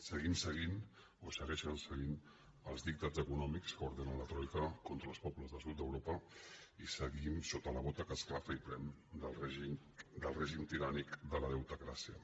seguim seguint o segueixen seguint els dictats eco·nòmics que ordena la troica contra els pobles del sud d’europa i seguim sota la bota que esclafa i prem el règim tirànic de la deutecràcia